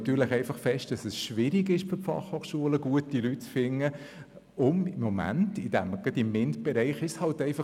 Für die FH ist es schwierig, gute Fachleute zu finden, gerade im Bereich Mathematik, Informatik und Naturwissenschaften (MINT).